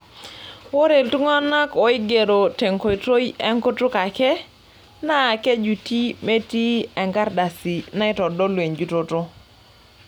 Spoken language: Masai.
Ore iltung'anak oigeroki tenkoitoi enkutuk ake naa kejuti metii enkardasi naitodolu enjutoto.